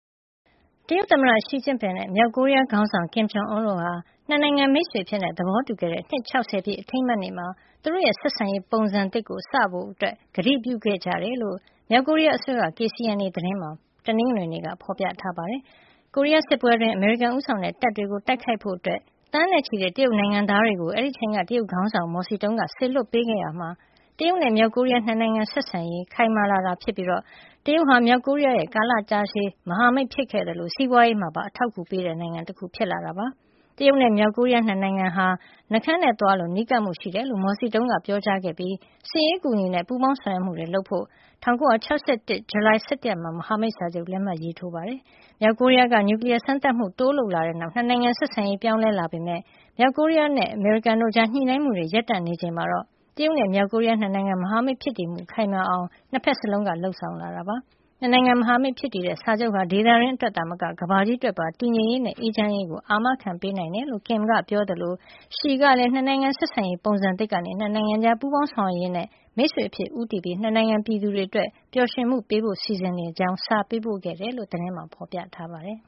တရုတ်သမ္မတ Xi Jinping နဲ့ မြောက်ကိုရီးယားခေါင်းဆောင် Kim Jong Un တို့က ၂ နိုင်ငံ မိတ်ဆွေအဖြစ် သဘောတူခဲ့တဲ့ နှစ် ၆၀ ပြည့် အထိမ်းအမှတ်နေ့မှာ သူတို့ရဲ့ ဆက်ဆံရေးပုံစံသစ် စတင်ဖို့ ကတိပြုခဲ့ကြကြောင်း မြောက်ကိုရီးယားအစိုးရရဲ့ KCNA သတင်းမှာ တနင်္ဂနွေနေ့က ဖော်ပြထားပါတယ်။ ကိုရီးယားစစ်ပွဲအတွင်း အမေရိကန်ဦးဆောင်တဲ့ တပ်တွေကို တိုက်ခိုက်ဖို့ သန်းနဲ့ချီတဲ့ တရုတ်နိုင်ငံသားတွေကို အဲဒီအချိန်က တရုတ်ခေါင်းဆောင် မော်စီတုံးက စေလွှတ်ပေးခဲ့ရာက တရုတ်နဲ့ မြောက်ကိုရီးယား ၂ နိုင်ငံဆက်ဆံရေး ခိုင်မာလာတာဖြစ်ပြီး တရုတ်ဟာ မြောက်ကိုရီးယားရဲ့ ကာလတာရှည် မဟာမိတ်ဖြစ်ခဲ့သလို စီးပွားရေးမှာပါ အထောက်အကူပေးနေတဲ့နိုင်ငံ ဖြစ်လာတာပါ။ တရုတ်နဲ့ မြောက်ကိုရီးယား ၂ နိုင်ငံဟာ နှှုတ်ခမ်းနဲ့သွားလို နီးကပ်မှုရှိတယ်လို့ မော်စီတုံးက ပြောကြားခဲ့ပြီး စစ်ရေးအကူအညီနဲ့ ပူးပေါင်းဆောင်ရွက်မှုတွေလုပ်ဖို့ ၁၉၆၁ ခုနှစ် ဇူလိုင်လ ၁၁ ရက်နေ့မှာ မဟာမိတ်စာချုပ်ကို လက်မှတ်ရေးထိုးခဲ့တာပါ။ မြောက်ကိုရီးယားက နျူကလီးယား စမ်းသပ်မှုတွေ တိုးလုပ်လာတဲ့နောက် ၂ နိုင်ငံဆက်ဆံရေး ပြောင်းလဲလာခဲ့ပေမယ့် မြောက်ကိုရီးယားနဲ့ အမေရိကန်တို့ကြား ညှိနှိုင်းမှုတွေ ရပ်တန့်နေချိန်မှာတော့ တရုတ်နဲ့ မြောက်ကိုရီးယား ၂ နိုင်ငံ မဟာမိတ်ဖြစ်တည်မှု ခိုင်မာအောင် ၂ ဖက်စလုံးက လုပ်ဆောင်လာတာ ဖြစ်ပါတယ်။ ၂ နိုင်ငံ မဟာမိတ်ဖြစ်တည်တဲ့ စာချုပ်ဟာ ဒေသတွင်းအတွက်သာမက ကမ္ဘာကြီးအတွက်ပါ တည်ငြိမ်ရေးနဲ့ အေးချမ်းရေးအတွက် အာမခံပေးနိုင်တယ်လို့ Kim က ပြောသလို Xi ကလည်း ၂ နိုင်ငံဆက်ဆံရေး ပုံစံသစ်ကနေ ၂ နိုင်ငံကြား ပူးပေါင်းဆောင်ရွက်ရေးနဲ့ မိတ်ဆွေအဖြစ် ဦးတည်ပြီး ၂ နိုင်ငံပြည်သူတွေအတွက်ပါ ပျော်ရွှင်မှုပေးနိုင်ဖို့ စီစဉ်နေကြောင်း စာပေးပို့ခဲ့တယ်လို သတင်းမှာ ဖော်ပြထားပါတယ်